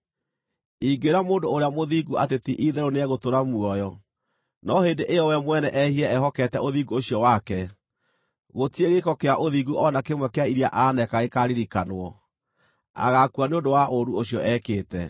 Ingĩĩra mũndũ ũrĩa mũthingu atĩ ti-itherũ nĩegũtũũra muoyo, no hĩndĩ ĩyo we mwene ehie ehokete ũthingu ũcio wake, gũtirĩ gĩĩko kĩa ũthingu o na kĩmwe kĩa iria aneeka gĩkaaririkanwo; agaakua nĩ ũndũ wa ũũru ũcio ekĩte.